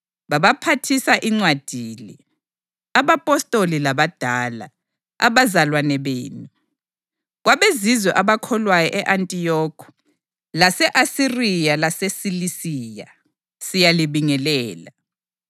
Babaphathisa incwadi le: Abapostoli labadala, abazalwane benu, KwabeZizwe abakholwayo e-Antiyokhi, lase-Asiriya laseSilisiya: Siyalibingelela.